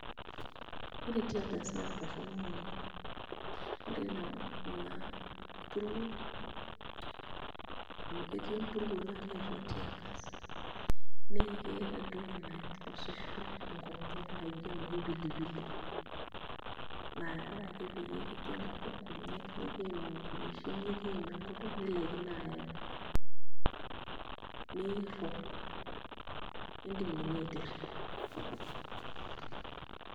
Ore tear gas naa torrono oleng', ore ina puruo amu ketii empuruo atua tear gas naa keeta entoki nainosisho nkonyek naa ijio enoshi pilipili naa ore ake peyie kijing' atua nkonyek neimu nkumeishin nikiim enkutuk nilaikino ayang'a niirrog iindim ninye aiterria.